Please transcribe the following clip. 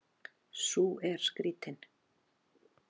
Sú er skrýtin.